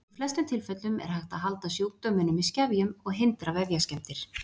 Í flestum tilfellum er hægt að halda sjúkdóminum í skefjum og hindra vefjaskemmdir.